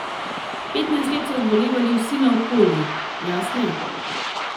Petnajst let so zbolevali vsi naokoli, jaz ne.